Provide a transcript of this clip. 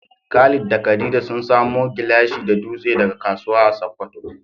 Khalid da Khadija sun samo gilashi da dutse daga kasuwa a Sokoto.